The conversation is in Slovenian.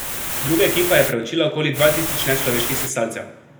Druga ekipa je preučila okoli dva tisoč nečloveških sesalcev.